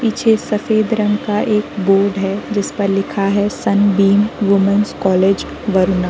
पीछे सफ़ेद रंग का एक बोर्ड है। जिस पर लिखा है सनबीम वोमेंस कॉलेज वरुणा।